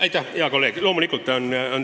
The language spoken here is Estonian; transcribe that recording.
Aitäh, hea kolleeg!